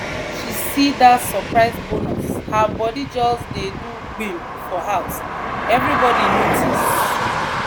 when she see that surprise bonus her body just dey do gbim for house everybody notice.